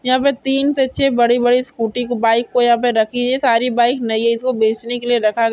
यहा पे तीन सच्चे बड़े बड़े स्कूटी बाइक को यह पे रखी है। सारी बाइक नई है। इस को बेचने के लिये रखा गया--